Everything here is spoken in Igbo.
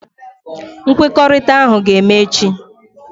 Nkwekọrịta ahụ ga-eme echi.